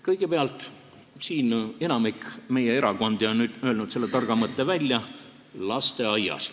Kõigepealt, enamik erakondi on öelnud välja selle targa mõtte: lasteaiast alates.